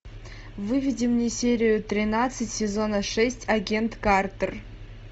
выведи мне серию тринадцать сезона шесть агент картер